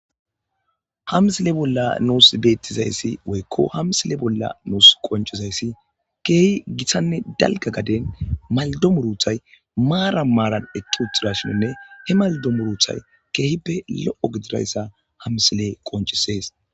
Hamsile bolla nuus beettizayssi woykko hamsile bolla nuus qonchizayssi keehi githanne dalga gaden maldomuruthay maara maaran ekki utidashininne he maldo muruthay keehippe lo'o gidirayssa hamsile qoncisees